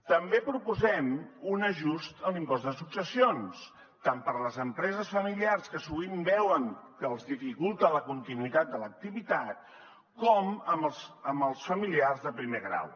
també proposem un ajust a l’impost de successions tant per a les empreses familiars que sovint veuen que els dificulta la continuïtat de l’activitat com amb els familiars de primer grau